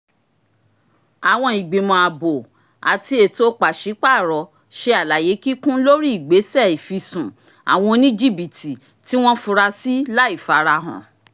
àwọn ìgbìmọ̀ ààbò ati ètò pàṣípààrọ̀ ṣe àlàyé kíkún lórí ìgbésẹ̀ ìfisùn awọn oníjìbítì tí wọ́n furasí láìfarahàn